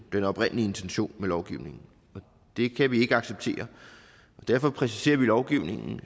den oprindelige intention med lovgivningen og det kan vi ikke acceptere derfor præciserer vi lovgivningen